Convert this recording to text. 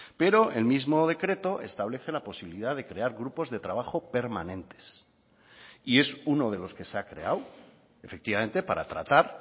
pero el mismo decreto establece la posibilidad de crear grupos de trabajo permanentes y es uno de los que se ha creado efectivamente para tratar